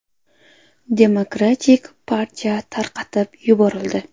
Demokratik partiya tarqatib yuborildi.